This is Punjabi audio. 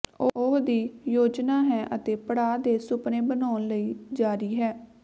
ਉਹ ਦੀ ਯੋਜਨਾ ਹੈ ਅਤੇ ਪੜਾਅ ਦੇ ਸੁਪਨੇ ਬਣਾਉਣ ਲਈ ਜਾਰੀ ਹੈ